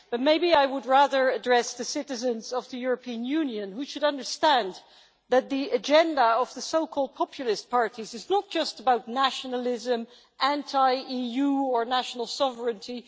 But maybe I would rather address the citizens of the European Union, who should understand that the agenda of the so called populist parties is not just about nationalism, anti EU or national sovereignty